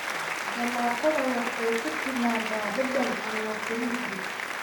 Jalaatada waxay ku timaadaa dhadhan aan la tirin karin.